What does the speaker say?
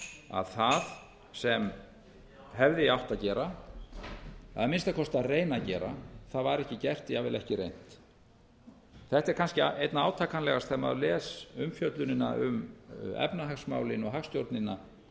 að það sem hefði átt að gera að minnsta kosti reyna að gera það var ekki gert jafnvel ekki reynt þetta er kannski einna átakanlegast þegar maður les umfjöllunina um efnahagsmálin og hagstjórnina